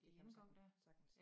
Det kan man sagtens sagtens